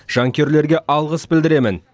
жанкүйерлерге алғыс білдіремін